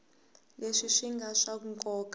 leswi swi nga swa nkoka